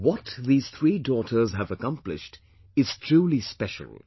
What these three daughters have accomplished is truly special